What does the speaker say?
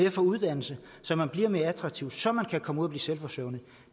at få uddannelse så man bliver mere attraktiv så man kan komme ud og blive selvforsørgende